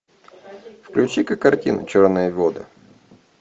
включи ка картину черные воды